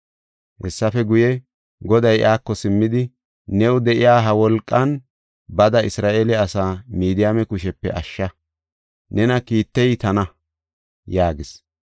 Hessafe guye, Goday iyako simmidi, “New de7iya ha wolqan bada Isra7eele asaa Midiyaame kushepe ashsha. Nena kiittey tana” yaagis.